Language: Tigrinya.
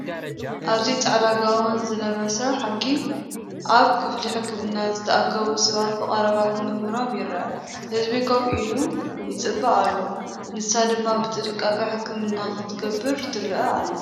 ኣብዚ ጻዕዳ ጋውን ዝለበሰ ሓኪም ፡ ኣብ ክፍሊ ሕክምና ዝተኣከቡ ሰባት ብቐረባ ክምርምሮም ይርአ። ህዝቢ ኮፍ ኢሉ ይጽበ ኣሎ፡ ንሳ ድማ ብጥንቃቐ ሕክምና ክትገብር ትርአ ኣላ።